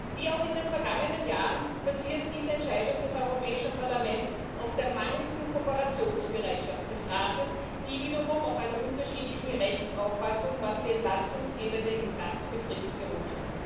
Wie auch in den vergangenen Jahren basiert diese Entscheidung des Europäischen Parlaments auf der mangelnden Kooperationsbereitschaft des Rates, die wiederum auf einer unterschiedlichen Rechtsauffassung, was die entlastungsgebende Instanz betrifft, beruht.